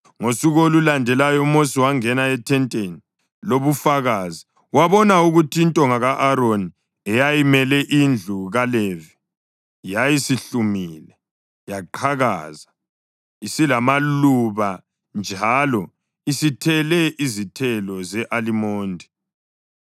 Ngosuku olulandelayo uMosi wangena ethenteni lobufakazi wabona ukuthi intonga ka-Aroni eyayimele indlu kaLevi, yayisihlumile yaqhakaza, isilamaluba njalo isithele izithelo ze-alimondi.